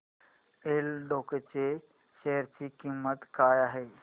एल्डेको च्या शेअर ची किंमत काय आहे